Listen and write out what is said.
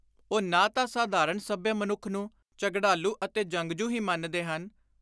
ਉਹ ਨਾ ਤਾਂ ਸਾਧਾਰਣ ਸੱਭਿਅ ਮਨੁੱਖ ਨੂੰ ਝਗੜਾਲੁ ਅਤੇ ਜੰਗਜੁ ਹੀ ਮੰਨਦੇ ਹਨ